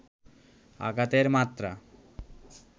আঘাতের মাত্রা